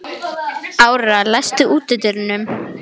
Áróra, læstu útidyrunum.